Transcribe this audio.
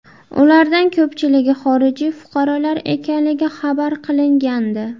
Ulardan ko‘pchiligi xorijiy fuqarolar ekanligi xabar qilingandi.